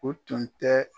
O tun tɛ